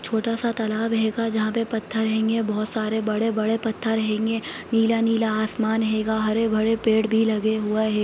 छोटा सा तालाब हैगाजहाॅं पर पत्थर हैंगे बहुत सारे बड़े-बड़े पत्थर हैंगे नीला-नीला आसमान हैगा हरे-भरे पेड़ भी लगे हुए हैं।